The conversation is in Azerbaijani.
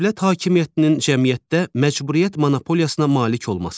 Dövlət hakimiyyətinin cəmiyyətdə məcburiyyət monopoliyasına malik olması.